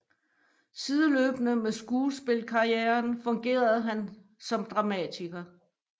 Sideløbende med skuespilkarrieren fungerer han som dramatiker